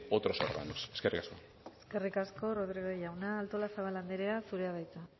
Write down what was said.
otros órganos eskerrik asko eskerrik asko rodríguez jauna artolazabal anderea zurea da hitza